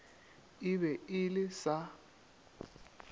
e be e le sa